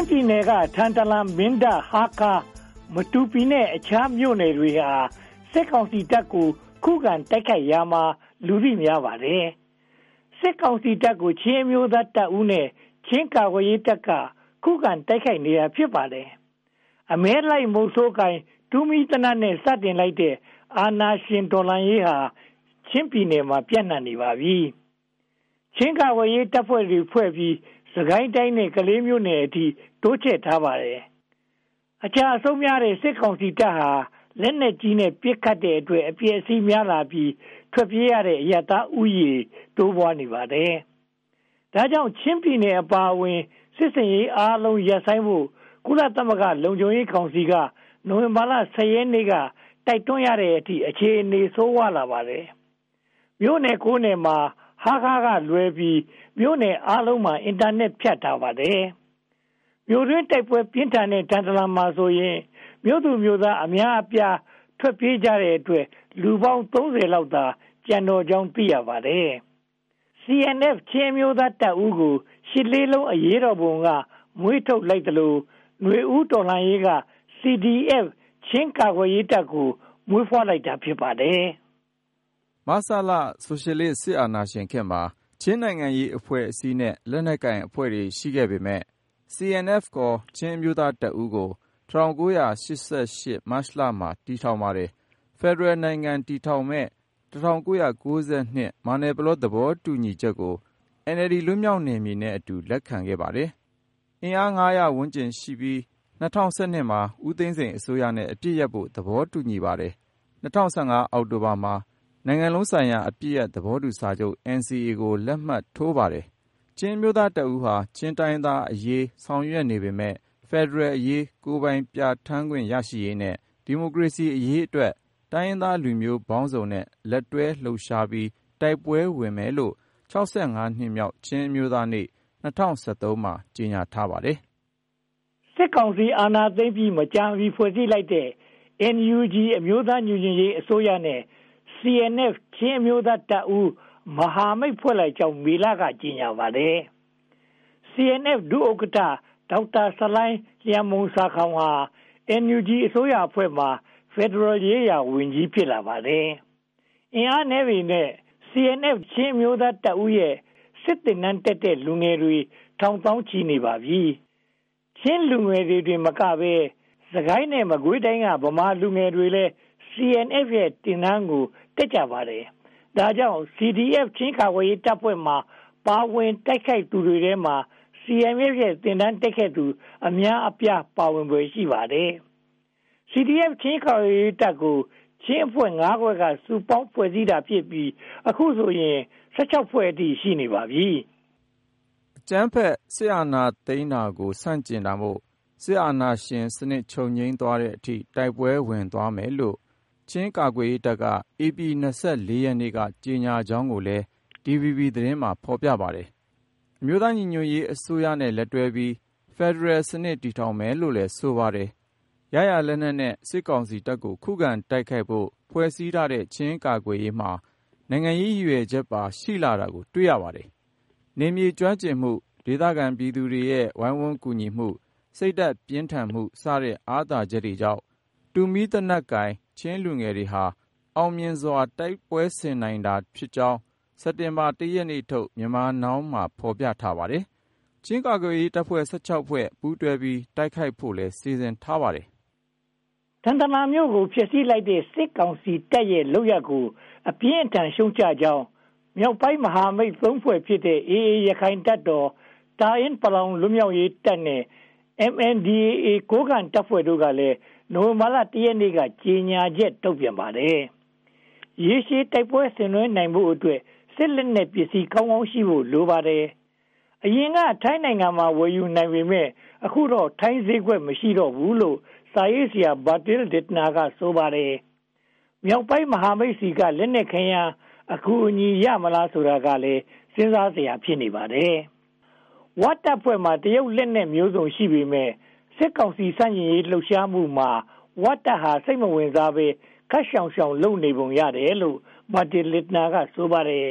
်းပြည်နယ်က ထန်တလန်၊ မင်းတပ်၊ ဟားခါး၊ မတူပီနဲ့ အခြားမြို့နယ်တွေဟာ စစ်ကောင်စီတပ်ကို ခုခံတိုက်ခိုက်ရာမှာ လူသိများပါတယ်။ စစ်ကောင်စီတပ်ကို ချင်းအမျိုးသားတပ်ဦးနဲ့ ချင်းကာကွယ်ရေးတပ်က ခုခံတိုက်ခိုက်နေတာ ဖြစ်ပါတယ်။ အမဲလိုက်မုဆိုးကိုင် တူးမီးသေနတ်နဲ့ စတင်လိုက်တဲ့ အာဏာရှင်တော်လှန်ရေးဟာ ချင်းပြည်နယ်မှာ ပြန့်နံှပနေပါပြီ။ ချင်းကာကွယ်ရေးတပ်ဖွဲ့တွေဖွဲ့ပြီး၊ စစ်ကိုင်းတိုင်း ကလေးမြို့နယ်အထိ တိုးချဲ့ထားပါတယ်။ အကျအဆုံးများတဲ့ စစ်ကောင်စီတပ်ဟာ လက်နက်ကြီးနဲ့ ပစ်ခတ်တဲ့အတွက် အပျက်အစီးများလာပြီး ထွက်ပြေးရတဲ့ အရပ်သားဦးရေ တိုးပွားနေပါတယ်။ ဒါကြောင့် ချင်းပြည်နယ်အပါအဝင် စစ်ဆင်ရေးအားလုံး ရပ်ဆိုင်းဖို့ ကုလသမဂ္ဂ လုံခြုံရေးကောင်စီက နိုဝင်ဘာလ (၁၀) ရက်နေ့က တိုက်တွန်းရတဲ့အထိ အခြေအနေ ဆိုးဝါးလာပါတယ်။ မြို့နယ် (၉) မြို့နယ်မှာ ဟားခါးကလွဲပြီး မြို့နယ်အားလုံးမှာ အင်တာနက် ဖြတ်ထားပါတယ်။ မြို့တွင်းတိုက်ပွဲ ပြင်းထန်တဲ့ ထန်တလန်မှာဆိုရင် မြို့သူမြို့သားအများအပြား ထွက်ပြေးကြတဲ့အတွက် လူပေါင်း (၃၀) လောက်သာ ကျန်တော့ကြောင်း သိရပါတယ်။ CNF ချင်းအမျိုးသားတပ်ဦးကို ရှစ်လေးလုံး အရေးတော်ပုံက မွေးထုတ်ခဲ့သလို နွေဦးတော်လှန်ရေးက CDF ချင်းကာကွယ်ရေးတပ်ကို မွေးဖွားလိုက်တာ ဖြစ်ပါတယ်။ မဆလ ဆိုရှယ်လစ်စစ်အာဏာရှင်ခေတ်မှာ ချင်းနိုင်ငံရေးအဖွဲ့အစည်းနဲ့ လက်နက်ကိုင်အဖွဲ့တွေ ရှိခဲ့ပေမယ့်၊ CNF ချင်းအမျိုးသားတပ်ဦးကို ၁၉၈၈ မတ်လမှာ တည်ထောင်ခဲ့ပါတယ်။ ဖယ်ဒရယ်နိုင်ငံ တည်ထောင်မယ့် ၁၉၉၂ မယ်နာပလော သဘောတူချက်ကို NLD လွတ်မြောက်နယ်မြေနဲ့အတူ လက်ခံခဲ့ပါတယ်။ အင်အား (၅၀၀) ဝန်းကျင်ရှိပြီး ၂၀၁၂ မှာ ဦးသိန်းစိန်အစိုးရနဲ့ အပစ်ရပ်ဖို့ သဘောတူခဲ့ပါတယ်။ ၂၀၁၅ အောက်တိုဘာမှာ နိုင်ငံလုံးဆိုင်ရာ အပစ်ရပ်သဘောတူညီချက် NCA ကို လက်မှတ်ရေးထိုးပါတယ်။ ချင်းအမျိုးသားတပ်ဦးဟာ ချင်းတိုင်းရင်းသားအရေး ဆောင်ရွက်နေပေမယ့် ဖယ်ဒရယ်အရေး၊ ကိုယ်ပိုင်ပြဌာန်းခွင့် ရရှိရေးနဲ့ ဒီမိုကရေစီအရေးအတွက် တိုင်းရင်းသားလူမျိုးပေါင်းစုံနဲ့ လက်တွဲလှုပ်ရှားပြီး တိုက်ပွဲဝင်မယ်လို့ (၆၅) နှစ်မြောက် ချင်းအမျိုးသားနေ့ ၂၀၁၃ မှာ ကြေညာထားပါတယ်။ စစ်ကောင်စီ အာဏာသိမ်းပြီး မကြာမီ ဖွဲ့စည်းလိုက်တဲ့ NUG အမျိုးသားညီညွှတ်ရေးအစိုးရနဲ့ CNF ချင်းအမျိုးသားတပ်ဦး မဟာမိတ် ဖွဲ့လိုက်ကြောင်း မေလမှာ ကြေညာပါတယ်။ CNF ဒုဥက္ကဋ္ဌ ဒေါက်တာဆလိုင်းလျန်မှုန်ဆာခေါင်,ဟာ NUG အစိုးရအဖွဲ့မှာ ဖယ်ဒရယ်ရေးရာဝန်ကြီး ဖြစ်လာပါတယ်။ အင်အားနည်းပေမယ့် CNF ချင်းအမျိုးသားတပ်ဦးရဲ့ စစ်သင်တန်းတက်တဲ့လူငယ်တွေ ထောင်သောင်းချီ ရှိနေပါပြီ။ ချင်းလူငယ်တွေတင်မကဘဲ စစ်ကိုင်းနဲ့ မကွေးတိုင်းက ဗမာလူငယ်တွေလည်း CNF ရဲ့ စစ်သင်တန်းကို တက်ကြပါတယ်။ ဒါကြောင့် CDF ချင်းကာကွယ်ရေးတပ်ဖွဲ့တွေမှာ ပါဝင်တိုက်ခိုက်နေသူတွေထဲက CNF ရဲ့ စစ်သင်တန်းတက်ခဲ့သူ အများအပြား ပါဝင်ဖွယ် ရှိပါတယ်။ CDF ချင်း ကာကွယ်ရေးတပ်ကို ချင်းအဖွဲ့ ငါးဖွဲ့က စုပေါင်းဖွဲ့စည်းထားတာဖြစ်ပြီး အခုဆိုရင် (၁၆) ဖွဲ့အထိ ရှိနေပါပြီ။ အကြမ်းဖက်စစ်အာဏာသိမ်းတာကို ဆန့်ကျင်တာမို့ စစ်အာဏာရှင်စနစ် ချုပ်ငြိမ်သွားတဲ့အထိ တိုက်ပွဲဝင်သွားမယ်လို့ ချင်းကာကွယ်ရေးတပ်က ဧပြီလ (၂၄) ရက်နေ့က ကြေညာကြောင်းကိုလည်း DVB သတင်းမှာ ဖော်ပြခဲ့ပါတယ်။ အမျိုးသားညီညွှတ်ရေးအစိုးရနဲ့ လက်တွဲပြီး ဖယ်ဒရယ်စနစ် တည်ထောငင်မယ်လို့လည်း ဆိုပါတယ်။ ရရာလက်နက်နဲ့ စစ်ကောင်စီတပ်ကို ခုခံတိုက်ခိုက်ဖို့ ဖွဲ့စည်းထားတဲ့ ချင်းကာကွယ်ရေးမှာ နိုင်ငံရေးရည်ရွယ်ချက်ပါ ရှိလာတာကို တွေ့ရပါတယ်။ နယ်မြေကျွမ်းကျင်မှု၊ ဒေသခံပြည်သူတွေရဲ့ ကူညီရိုင်းပင်းမှု၊ စိတ်ဓါတ်ပြင်းထန်မှုစတဲ့ အာသာချက်တွေကြောင့် တူးမီးသေနတ်ကိုင် ချင်းလူငယ်တွေ အောင်မြင်စွာ တိုက်ပွဲဆင်နိုင်တာဖြစ်ကြောင်း စက်တင်ဘာလ (၁) ရက်နေ့ထုတ် Myanmar Now မှာ ဖော်ပြထားပါတယ်။ ချင်းကာကွယ်ရေးတပ်ဖွဲ့ (၁၆) ဖွဲ့ ပူးတွဲပြီး တိုက်ခိုက်ဖို့လည်း စီစဉ်ထားပါတယ်။ ထန်တလန်မြို့ကို ဖျက်ဆီးခဲ့တဲ့ စစ်ကောင်စီရဲ့လုပ်ရပ်ကို အပြင်းအထန် ရှုတ်ချကြောင်း မြောက်ပိုင်းမဟာမိတ်သုံးဖွဲ့ဖြစ်တဲ့ AA ရခိုင်တပ်တော်၊ တအာင်းပလောင်လွတ်မြောက်ရေးတပ်နဲ့ MNDAA ကိုးကန့်တပ်ဖွဲ့တို့ကလည်း နိုဝင်ဘာလ (၁) ရက်နေ့က ကြေညာချက် ထုတ်ပြန်ပါတယ်။ ရေရှည်တိုက်ပွဲ ဆင်နွဲဖို့အတွက် စစ်လက်နက်ပစ္စည်း ကောင်းကောင်းရှိဖို့လည်း လိုပါတယ်။ အရင်က ထိုင်းနိုင်ငံမှာ ဝယ်ယူနိုင်ပေမယ့် အခုတော့ ထိုင်းဈေးကွက် မရှိတော့ဘူးလို့ စာရေးဆရာ Bertil Lintner က ဆိုပါတယ်။ မြောက်ပိုင်းမဟာမိတ်တွေဆီက လက်နက်ခဲယမ်း အကူအညီရမလား ဆိုတာကလည်း စဉ်းစားစရာ ဖြစ်နေပါတယ်။ ဝတပ်ဖွဲ့မှာ တရုတ်လက်နက်မျိုးစုံ ရှိနေပေမယ့် စစ်ကောင်စီ ဆန့်ကျင်လှုပ်ရှားမှုမှာ ဝတပ်ဟာ စိတ်မဝင်စားဘဲ ခပ်ရှောင်ရှောင် လုပ်နေပုံရတယ်လို့ Bertil Lintner က ဆိုပါတယ်